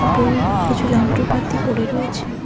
পুরুই কিছু যন্ত্রপাতি পড়ে রয়েছে।